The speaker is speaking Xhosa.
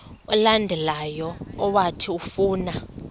olandelayo owathi ufuna